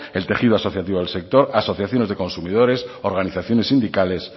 el tejido asociativo del sector asociaciones de consumidores organizaciones sindicales